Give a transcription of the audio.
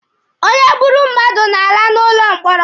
Onye gburu mmadụ na-ala n'ụlọ mkpọrọ.